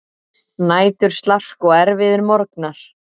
Næturslark og erfiðir morgnar.